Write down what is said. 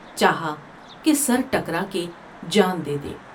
چاہا کہ سرٹکرا کے جان دے دے ۔